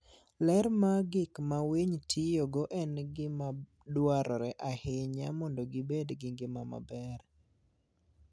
Ler mar gik ma winy tiyogo en gima dwarore ahinya mondo gibed gi ngima maber.